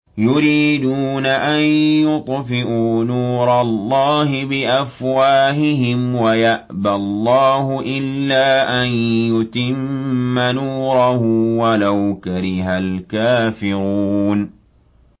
يُرِيدُونَ أَن يُطْفِئُوا نُورَ اللَّهِ بِأَفْوَاهِهِمْ وَيَأْبَى اللَّهُ إِلَّا أَن يُتِمَّ نُورَهُ وَلَوْ كَرِهَ الْكَافِرُونَ